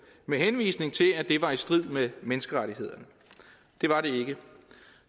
med henvisning til at det var i strid med menneskerettighederne det var det ikke